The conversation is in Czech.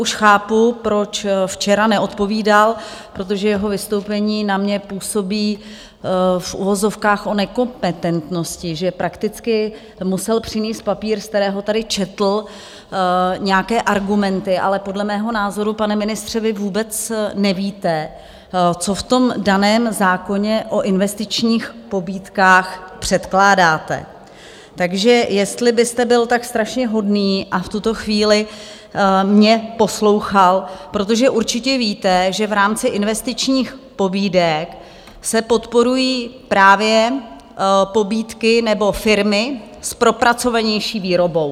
Už chápu, proč včera neodpovídal, protože jeho vystoupení na mě působí - v uvozovkách - o nekompetentnosti, že prakticky musel přinést papír, z kterého tady četl nějaké argumenty, ale podle mého názoru, pane ministře, vy vůbec nevíte, co v tom daném zákoně o investičních pobídkách předkládáte, takže jestli byste byl tak strašně hodný a v tuto chvíli mě poslouchal, protože určitě víte, že v rámci investičních pobídek se podporují právě pobídky nebo firmy s propracovanější výrobou.